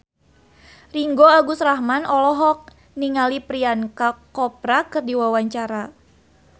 Ringgo Agus Rahman olohok ningali Priyanka Chopra keur diwawancara